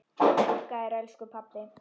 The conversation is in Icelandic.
Þakka þér elsku pabbi.